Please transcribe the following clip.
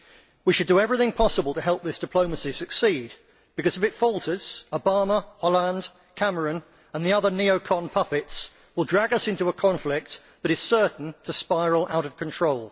We should do everything possible to help this diplomacy to succeed, because if it falters Obama, Hollande, Cameron and the other neo con puppets will drag us into a conflict that is certain to spiral out of control.